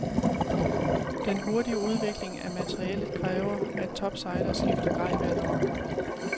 Den hurtige udvikling af materiellet kræver, at topsejlere skifter grej hvert år.